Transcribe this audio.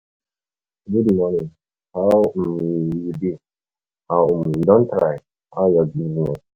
Good morning, how um you dey, you um don try, how your business?